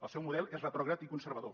el seu model és retrògrad i conservador